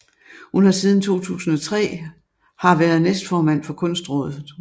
Hun har siden 2003 har været næstformand for Kunstrådet